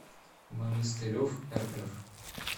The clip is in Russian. монастыреврф